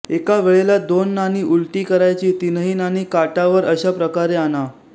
एका वेळेला दोन नाणी उलटी करायची तीनही नाणी काटा वर अशा प्रकारे आणा